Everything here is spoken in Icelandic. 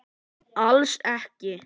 Alls ekki.